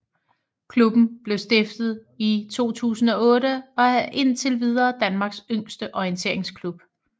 Klubben blev stiftet i 2008 og er indtil videre Danmarks yngste orienteringsklub